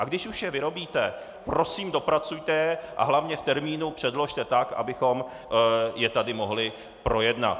A když už je vyrobíte, prosím, dopracujte je a hlavně v termínu předložte tak, abychom je tady mohli projednat.